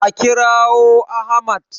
A kirawo Ahmad!